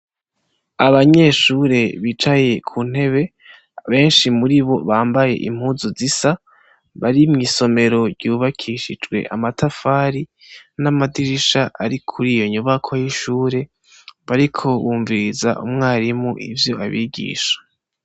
Abanyeshure bicaye ku ntebe benshi muri bo bambaye impuzu zisa, bari mw'isomero ryubakishijwe amatafari n'amadirisha ari kuriyo nyubako y'ishure bariko bumviriza umwarimu ivyo abigisha.